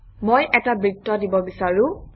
মই এটা বৃত্ত দিব বিচাৰোঁ